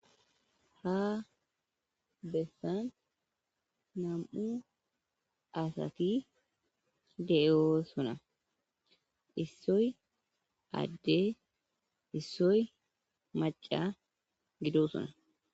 Ha bessan nam'u asati deyoo suna issoy adde issoy maca gido suna